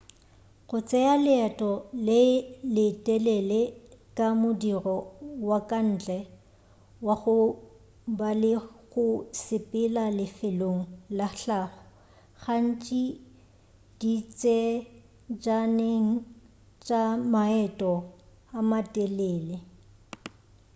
go tšea leeto le le telele ke modiro wa ka ntle wa go ba le go sepela lefelong la hlago gantši ditsejaneng tša maeto a matelele